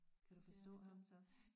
Kan du forstå ham så?